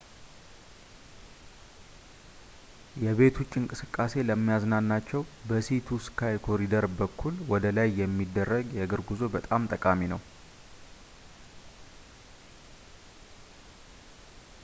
የቤት ውጭ እንቅስቃሴ ለሚያዝናናቸው፣ በsea to sky ኮሪደር በኩል ወደላይ የሚደረግ የእግር ጉዞ በጣም ጠቃሚ ነው